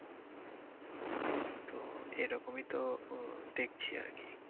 তো এরকমই তো আহ দেখছি আরকি।